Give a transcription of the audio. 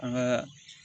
An ka